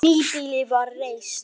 Nýbýli var reist.